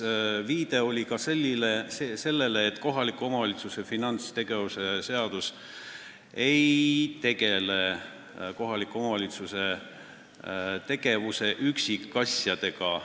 Veel oli viide sellele, et kohaliku omavalitsuse üksuse finantstegevuse seadus ei tegele kohaliku omavalitsuse tegevuse üksikasjadega.